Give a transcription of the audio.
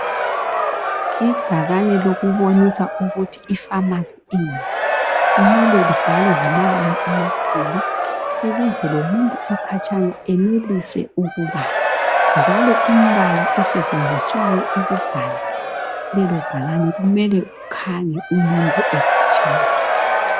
Ibhakane lokubonisa ukuthi ipharmacy ingaphi. Kumele libhalwe ngamabala amakhulu, ukuze lomuntu okhatshana, enelise ukubala, njalo umbala osetshenziswa ukubhala lelobhakane, kumele ukhanye umuntu ekhatshana.